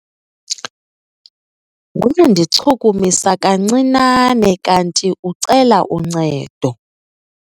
Wandichukumisa kancinane kanti ucela uncedo.